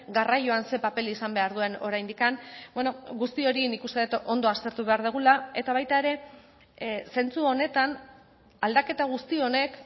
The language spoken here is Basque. garraioan zer paper izan behar duen oraindik guzti hori nik uste dut ondo aztertu behar dugula eta baita ere zentzu honetan aldaketa guzti honek